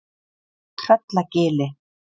Tröllagili